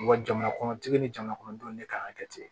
Wa jamana kɔnɔtigi ni jamanakɔnɔdenw ne kan ka kɛ ten